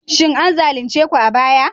Shin an zalunce ku a baya?